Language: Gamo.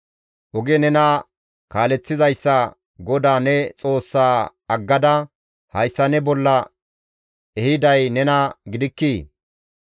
Oge nena kaaleththizayssa GODAA ne Xoossa aggada hayssa ne bolla ehiday nena gidikkii?